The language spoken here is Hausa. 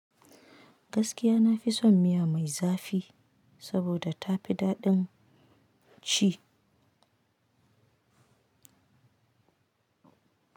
Gaskiya nafi son miya mai zafi saboda tafi daɗin ci.